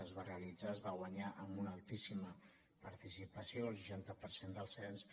es va realitzar es va guanyar amb una altíssima participació el seixanta per cent del cens